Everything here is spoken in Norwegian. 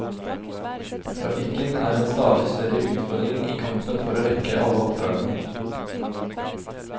Trafikken er en stadig større utfordring i kampen for å rekke alle oppdragene.